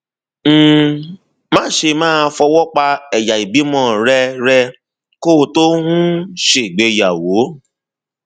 um máṣe máa fọwọ pa ẹyà ìbímọ rẹ rẹ kó o tó um ṣègbéyàwó